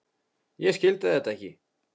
Ég skildi þetta ekki.